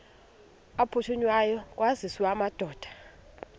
aphuthunywayo kwaziswe amadoda